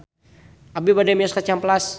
Abi bade mios ka Cihampelas